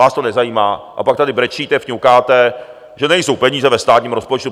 Vás to nezajímá a pak tedy brečíte, fňukáte, že nejsou peníze ve státním rozpočtu.